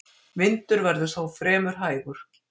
Vindur verður þó fremur hægur